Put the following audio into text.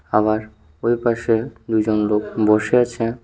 আবার ওইপাশে দুইজন লোক বসে আছে।